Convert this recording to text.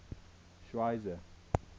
schweizer